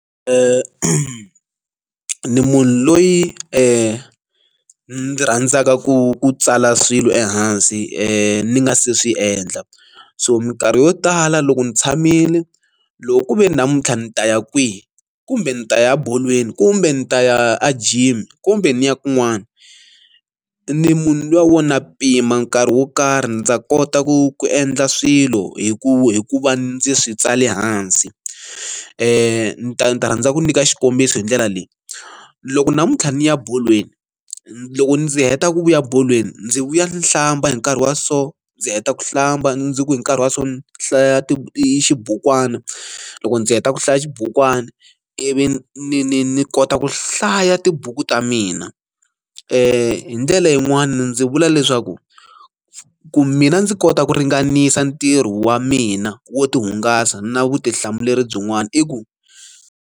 Ni munhu loyi ni n'wi rhandzaka ku tsala swilo ehansi ni nga se swi endla so minkarhi yo tala loko ni tshamile loko ku ve ni namuntlha ndzi ta ya kwihi kumbe ndzi ta ya bolweni kumbe ndzi ta ya a gym kumbe ni ya kun'wana ni munhu luya wo na pima nkarhi wo karhi ndza kota ku ku endla swilo hi ku hi ku va ndzi swi tsali hansi ni ta ni ta rhandza ku nyika xikombiso hi ndlela leyi loko namuntlha ni ya bolweni loko ndzi heta ku vuya bolweni ndzi vuya ndzi hlamba hi nkarhi wa so ndzi heta ku hlamba ndzi ku hi nkarhi wa so hlaya ti i xibukwana loko ndzi heta ku hlaya xibukwana ivi ni ni ni kota ku hlaya tibuku ta mina hi ndlela yin'wani ndzi vula leswaku ku mina ndzi kota ku ringanisa ntirho wa mina wo ti hungasa na vutihlamuleri byin'wana i ku.